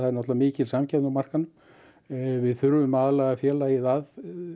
náttúrlega mikil samkeppni á markaðnum við þurfum að aðlaða félagið að